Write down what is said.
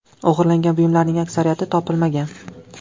O‘g‘irlangan buyumlarning aksariyati topilmagan.